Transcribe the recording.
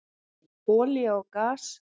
Olía og gas